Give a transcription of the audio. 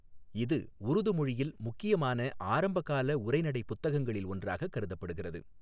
இது உருது மொழியில் முக்கியமான ஆரம்பகால உரைநடைப் புத்தகங்களில் ஒன்றாகக் கருதப்படுகிறது.